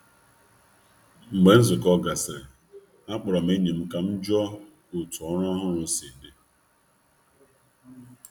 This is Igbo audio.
Mgbe e mechara nzukọ mechara nzukọ, akpọrọ m otu enyi m ka m jụọ otú ọrụ ọhụrụ ahụ si aga.